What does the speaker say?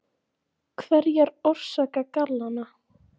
Hverjar eru orsakar gallanna?